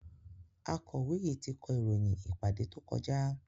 Akọ̀wé yìí ti kọ ìròyìn ìpàdé tó kọjá.